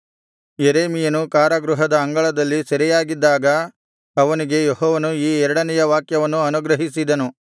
ಯೆರೆಮೀಯನು ಕಾರಾಗೃಹದ ಅಂಗಳದಲ್ಲಿ ಸೆರೆಯಾಗಿದ್ದಾಗ ಅವನಿಗೆ ಯೆಹೋವನು ಈ ಎರಡನೆಯ ವಾಕ್ಯವನ್ನು ಅನುಗ್ರಹಿಸಿದನು